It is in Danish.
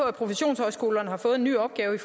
at professionshøjskolerne har fået en ny opgave